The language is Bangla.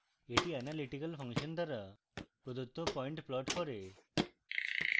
এটি analytical ফাংশন দ্বারা প্রদত্ত পয়েন্ট plots করে